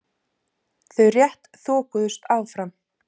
Þau rétt þokuðust áfram.